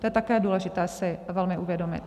To je také důležité si velmi uvědomit.